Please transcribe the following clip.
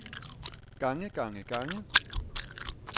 gange gange gange